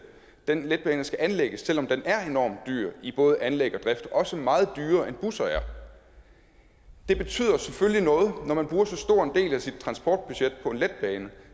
den letbane skal anlægges selv om den er enormt dyr i både anlæg og drift også meget dyrere end busser er det betyder selvfølgelig noget når man bruger så stor en del af sit transportbudget på en letbane